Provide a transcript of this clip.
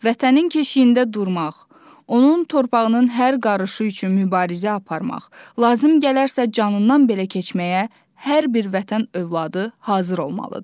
Vətənin keşiyində durmaq, onun torpağının hər qarışı üçün mübarizə aparmaq, lazım gələrsə canından belə keçməyə hər bir Vətən övladı hazır olmalıdır.